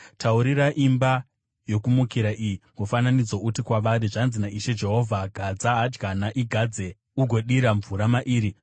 Taurira imba yokumukira iyi mufananidzo, uti kwavari, ‘Zvanzi naIshe Jehovha: “ ‘Gadza hadyana; igadze ugodira mvura mairi.